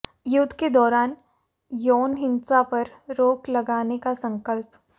युद्ध के दौरान यौन हिंसा पर रोक लगाने का संकल्प